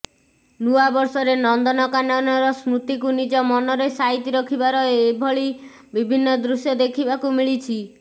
ନୂଆ ବର୍ଷରେ ନନ୍ଦନକାନନର ସ୍ମୃତିକୁ ନିଜ ମନରେ ସାଇତି ରଖିବାର ଏଭଳି ବିଭିନ୍ନ ଦୃଶ୍ୟ ଦେଖିବାକୁ ମିଳିଛି